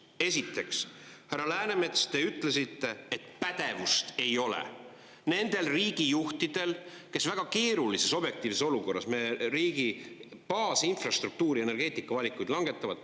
Esiteks, härra Läänemets, te ütlesite, et pädevust ei ole nendel riigijuhtidel, kes väga keerulises objektiivses olukorras me riigi baasinfrastruktuuri ja energeetikavalikuid langetavad.